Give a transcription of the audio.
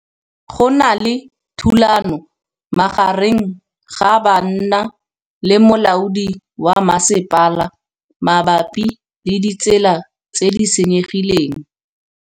Go na le thulanô magareng ga banna le molaodi wa masepala mabapi le ditsela tse di senyegileng.